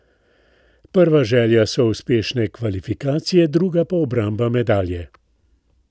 Prva želja so uspešne kvalifikacije, druga pa obramba medalje.